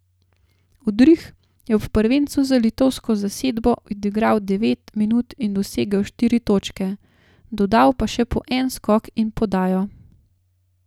Udrih je ob prvencu za litovsko zasedbo odigral devet minut in dosegel štiri točke, dodal pa še po en skok in podajo.